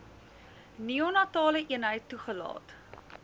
neonatale eenheid toegelaat